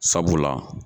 Sabula